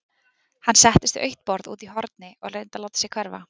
Hann settist við autt borð úti í horni og reyndi að láta sig hverfa.